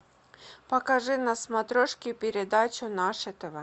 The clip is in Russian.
покажи на смотрешке передачу наше тв